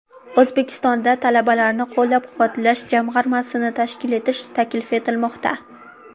O‘zbekistonda Talabalarni qo‘llab-quvvatlash jamg‘armasini tashkil etish taklif etilmoqda.